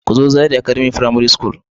Ku zo Zaria academy frimare school.